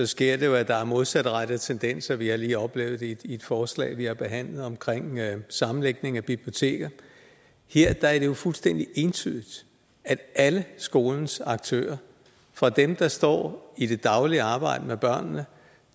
sker det jo at der er modsatrettede tendenser vi har lige oplevet det i et forslag vi har behandlet om sammenlægning af biblioteker her er det jo fuldstændig entydigt at alle skolens aktører fra dem der står i det daglige arbejde med børnene